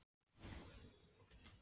Þegar Stubburinn kom út var ég átta ára.